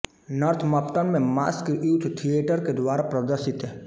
Northampton में mask youth theatre के द्वारा प्रदर्शित